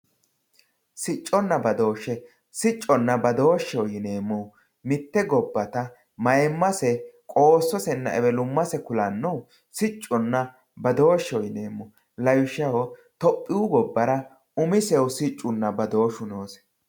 Sicconna badooshe, sicconna badooshe yineemmohu mite gobbatta mayimmase qoososena ewelummase kulanohu sicconna badoosheho yineemmo lawishshaho tophiyu gobbara umisehu siccunna badooshu noose.